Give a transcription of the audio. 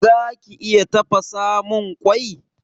Zaki iya tafasamun mun kwai?